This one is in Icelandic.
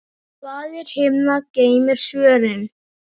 Faðir himna geymir svörin.